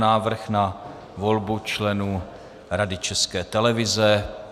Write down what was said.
Návrh na volbu členů Rady České televize